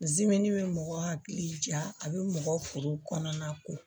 bɛ mɔgɔ hakili ja a bɛ mɔgɔ foro kɔnɔna ko